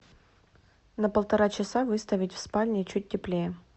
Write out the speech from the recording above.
на полтора часа выставить в спальне чуть теплее